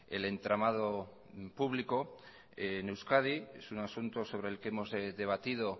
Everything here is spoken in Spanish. el entramado público en euskadi es un asunto sobre el que hemos debatido